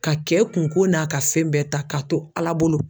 Ka kɛ kunko n'a ka fɛn bɛɛ ta ka to ALA bolo.